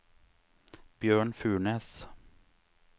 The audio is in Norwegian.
Bjørn Furnes